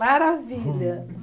Maravilha.